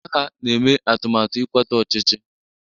Ndị agha na-eme atụmatụ ịkwatu ọchịchị